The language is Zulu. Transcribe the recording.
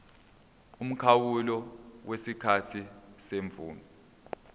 umkhawulo wesikhathi semvume